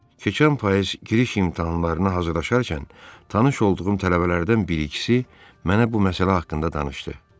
Keçən payız giriş imtahanlarına hazırlaşarkən tanış olduğum tələbələrdən bir-ikisi mənə bu məsələ haqqında danışdı.